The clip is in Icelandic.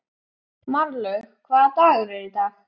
Marlaug, hvaða dagur er í dag?